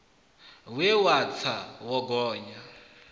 we wo tsa wo gonya